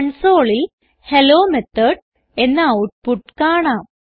കൺസോളിൽ hello method എന്ന output കാണാം